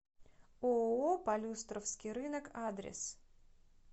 ооо полюстровский рынок адрес